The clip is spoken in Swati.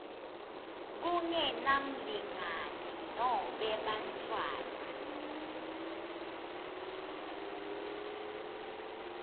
kungenamlingani nobe bantfwana